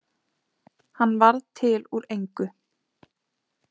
Hann varð til úr engu.